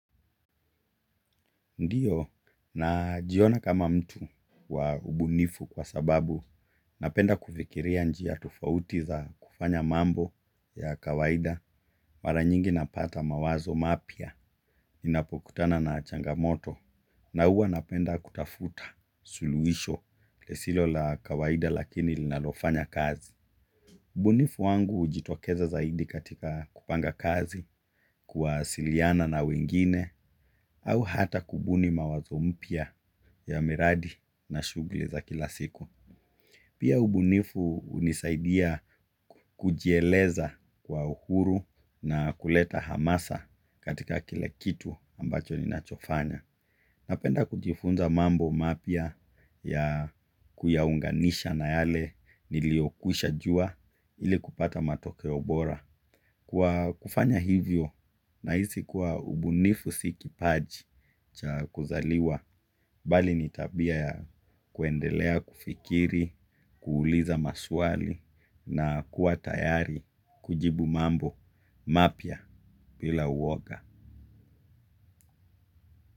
Ndiyo na jiona kama mtu wa ubunifu kwa sababu napenda kufikiria njia tufauti za kufanya mambo ya kawaida mara nyingi napata mawazo mapya inapokutana na changamoto na hua napenda kutafuta suluisho lisilo la kawaida lakini linalofanya kazi. Ubunifu wangu ujitokeza zaidi katika kupanga kazi kuwasiliana na wengine au hata kubuni mawazo mpia. Ya miradi na shugli za kila siku pia ubunifu unisaidia kujieleza kwa uhuru na kuleta hamasa katika kila kitu ambacho ni nachofanya. Napenda kujifunza mambo mapya ya kuyaunganisha na yale niliyokwisha juwa ili kupata matokeo bora, kwa kufanya hivyo nahisi ubunifu si kipaji cha kuzaliwa bali nitabia ya kuendelea kufikiri, kuuliza maswali na kuwa tayari kujibu mambo mapya bila uwoga.